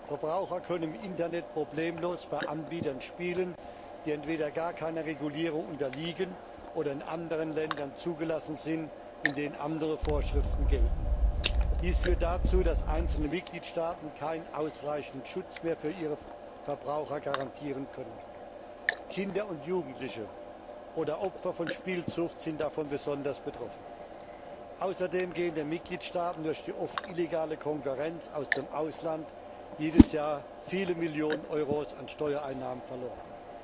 Verbraucher können im Internet problemlos bei Anbietern spielen, die entweder gar keiner Regulierung unterliegen oder in anderen Ländern zugelassen sind, in denen andere Vorschriften gelten. Dies führt dazu, dass einzelne Mitgliedstaaten keinen ausreichenden Schutz mehr für ihre Verbraucher garantieren können. Kinder und Jugendliche oder Opfer von Spielsucht sind davon besonders betroffen. Außerdem gehen den Mitgliedstaaten durch die oft illegale Konkurrenz aus dem Ausland jedes Jahr viele Millionen Euro an Steuereinnahmen verloren.